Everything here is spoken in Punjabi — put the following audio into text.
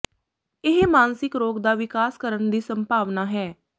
ਇਹ ਮਾਨਸਿਕ ਰੋਗ ਦਾ ਵਿਕਾਸ ਕਰਨ ਦੀ ਸੰਭਾਵਨਾ ਹੈ